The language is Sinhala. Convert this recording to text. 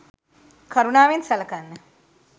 කරුණාවෙන් සලකන්න.